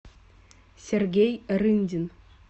сергей рындин